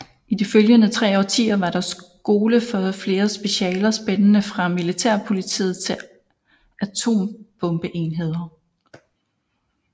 I de følgende tre årtier var der skole for flere specialer spændende fra Militærpolitiet til Atombombeenheder